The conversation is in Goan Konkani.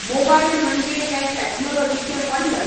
मोबायल म्हणजें हें टॅक्नोलोजीचें वंडर